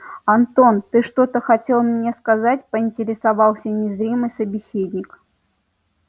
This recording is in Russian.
антон ты что-то хотел мне сказать поинтересовался незримый собеседник